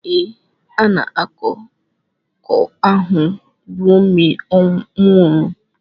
Ee, na akụkọ ahụ Romeo nwụrụ.